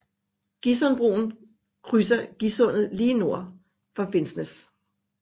Gisundbroen krydser Gisundet lige nord for Finnsnes